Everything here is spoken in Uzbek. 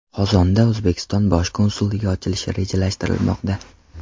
Qozonda O‘zbekiston bosh konsulligi ochilishi rejalashtirilmoqda.